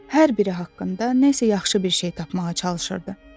Hər biri haqqında nəsə yaxşı bir şey tapmağa çalışırdı.